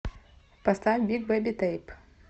поставь биг бэби тэйп